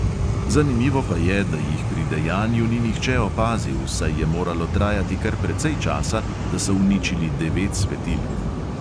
Zanimivo pa je, da jih pri dejanju ni nihče opazil, saj je moralo trajati kar precej časa, da so uničili devet svetilk.